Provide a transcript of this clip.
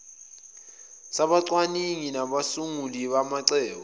sabacwaningi nabasunguli bamacebo